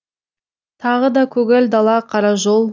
тағы да көгал дала қара жол